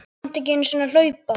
Þú kannt ekki einu sinni að hlaupa